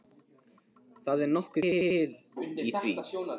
Það er nokkuð til í því.